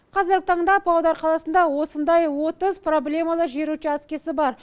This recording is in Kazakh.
қазіргі таңда павлодар қаласында осындай отыз проблемалы жер учаскесі бар